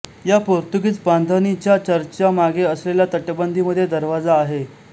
या पोर्तुगीज बांधणीच्या चर्चच्या मागे असलेल्या तटबंदीमध्ये दरवाजा आहे